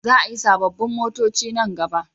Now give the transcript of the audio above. Za a yi sabobbin motoci nan gaba